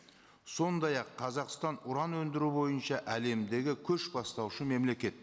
сондай ақ қазақстан уран өндіру бойынша әлемдегі көшбастаушы мемлекет